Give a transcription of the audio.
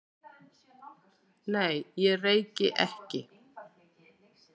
Nei, takk, ég reyki ekki